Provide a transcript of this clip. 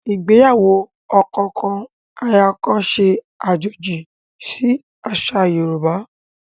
Ìgbéyàwó ọkọ kan, aya kan ṣe àjòjì sì àṣà Yorùbá